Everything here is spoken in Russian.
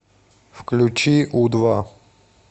включи у два